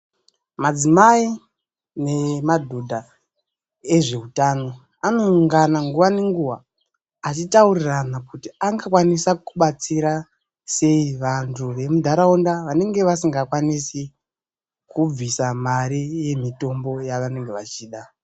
Madzimai nemadhodha ezveutano anoungana nguwa ngenguwa achitaurirana kuti angakwanisa kubatsira sei vanthu vemunharaunda vanenge vasikakwanisi kubvisa mare yemitombo yavanenge vechida.